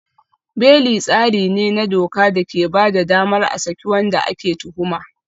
Beli tsari ne na doka da ke ba da damar a saki wanda ake tuhuma.